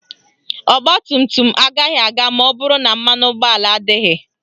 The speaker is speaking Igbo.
Ọgbatumtum agaghị aga maọbụrụ na mmanụ ụgbọala adịghị